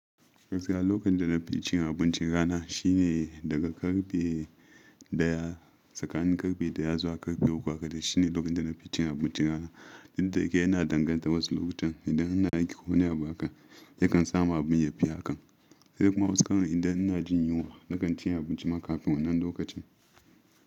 Gaskiya lokacin da na fi cin abincin rana shine daga karfe ɗaya tsakanin karfe ɗaya zuwa karfe uku haka da shine lokacin da na fi cin abincin rana. Duk da yake yana danganta wasu lokutan idan ana aiki ko wani abu hakan da kan samu abin ya fi hakan. Sai kuma wasu karan idan ina jin yunwa na kan cin abinci ma kafin wannan lokacin.